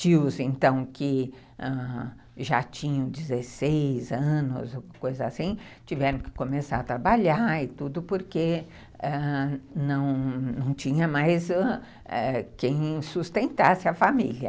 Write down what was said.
Tios então que ãh que já tinham dezesseis anos tiveram que começar a trabalhar e tudo porque não tinha mais quem sustentasse a família.